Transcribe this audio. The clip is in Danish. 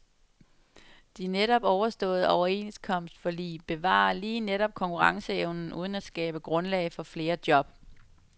De netop overståede overenskomstforlig bevarer lige netop konkurrenceevnen uden at skabe grundlag for flere job.